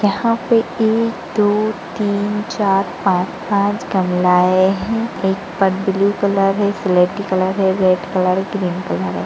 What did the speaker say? यहाँ पे एक दो तीन चार पांच पांच गमलाए है एक ब्लू कलर हैं एक स्लेटी कलर है एक रेड कलर है एक ग्रीन है।